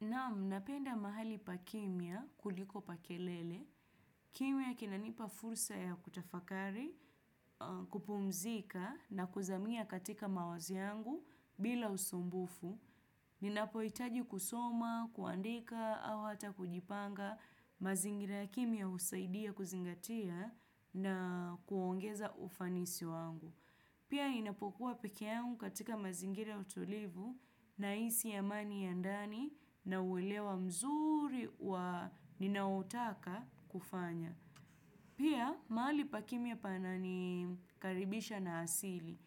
Naam, napenda mahali pa kimya kuliko pa kelele. Kimya kinanipa fursa ya kutafakari, kupumzika na kuzamia katika mawazi yangu bila usumbufu. Ninapohitaji kusoma, kuandika au hata kujipanga mazingira kimya husaidia kuzingatia na kuongeza ufanisi wangu. Pia ninapokuwa peke yangu katika mazingire utulivu nahisi amani ya ndani na uelewa mzuri wa ninayotaka kufanya. Pia mahali pa kimya pananikaribisha na asili.